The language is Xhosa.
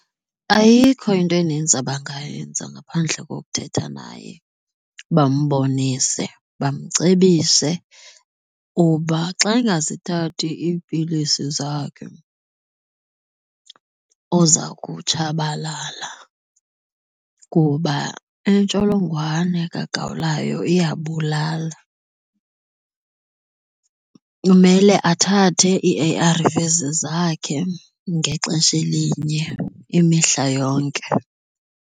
Ayikho into enintsi abangayenza ngaphandle kokuthetha naye bambonise bamcebise uba xa angazithathi iipilisi zakhe uza kutshabalala kuba intsholongwane kagawulayo iyabulala kumele athathe ii-A_R_Vs zakhe ngexesha elinye imihla yonke.